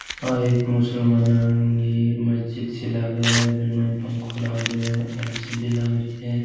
आ एक मुसलमानां की मस्जिद सी लग रही है बिक माईन पंखो लाग रयो है एल. सी. डी. लाग री है।